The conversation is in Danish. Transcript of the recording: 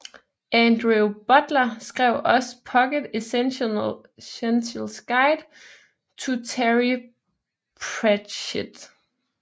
Andrew Butler skrev også Pocket Essentials Guide to Terry Pratchett